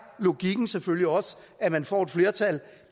logikken selvfølgelig også at man får et flertal